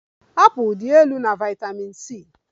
Apụl dị elu na vitamin C